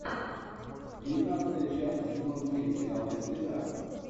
девятнадцатая часть сезон семь сериал без следа